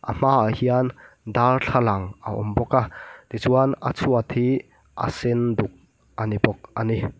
a hma ah hian darthlalang a awm bawka tichuan a chhuat hi a sen duk a ni bawk a ni.